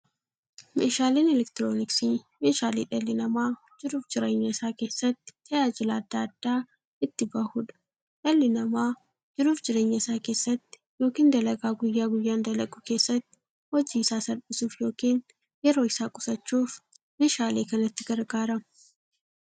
Meeshaaleen elektirooniksii meeshaalee dhalli namaa jiruuf jireenya isaa keessatti, tajaajila adda addaa itti bahuudha. Dhalli namaa jiruuf jireenya isaa keessatti yookiin dalagaa guyyaa guyyaan dalagu keessatti, hojii isaa salphissuuf yookiin yeroo isaa qusachuuf meeshaalee kanatti gargaarama.